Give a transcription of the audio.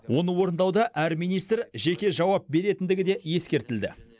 оны орындауда әр министр жеке жауап беретіндігі де ескертілді